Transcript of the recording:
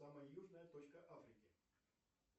самая южная точка африки